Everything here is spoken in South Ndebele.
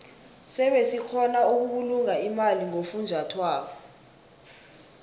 sebe sikgona ukubulunga imali ngofunjathwako